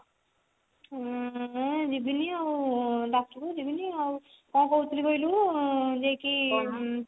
ଉଁ ଯିବିନି ଆଉ ଡାକିବ ଯିବିନି ଆଉ କଣ କହୁଥିଲି କହିଲୁ ଉଁ ଯାଇକି